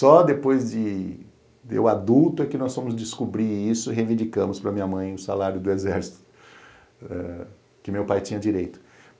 Só depois de eu adulto é que nós fomos descobrir isso e reivindicamos para minha mãe o salário do exército que meu pai tinha direito.